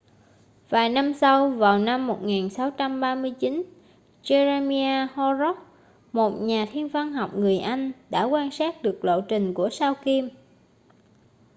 vài năm sau vào năm 1639 jeremiah horrocks một nhà thiên văn học người anh đã quan sát được lộ trình của sao kim